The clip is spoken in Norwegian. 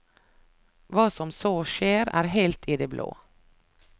Hva som så skjer, er helt i det blå.